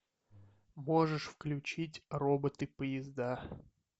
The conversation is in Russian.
можешь включить роботы поезда